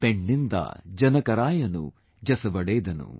Penninda janakaraayanu jasuvalendanu